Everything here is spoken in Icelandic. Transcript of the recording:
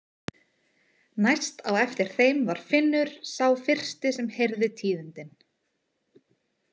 Næst á eftir þeim var Finnur sá fyrsti sem heyrði tíðindin.